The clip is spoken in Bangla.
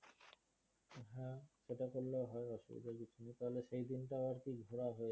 সেটা করলেও হয় অসুবিধার কিছু নেই তাহলে সেই দিন টাও আর কি ঘোরা হবে